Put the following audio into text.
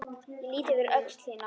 Ég lýt yfir öxl þína.